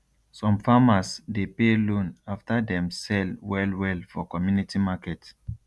some farmers dey pay loan after dem sell well well for community market